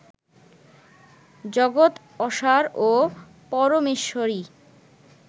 জগৎ অসার ও পরমেশ্বরই